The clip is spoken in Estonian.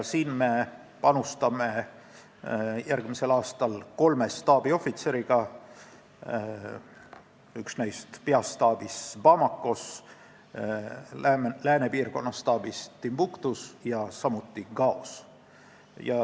Sinna me panustame järgmisel aastal kolme staabiohvitseriga: üks neist on peastaabis Bamakos, teine läänepiirkonna staabis Timbuktus ja kolmas Gaos.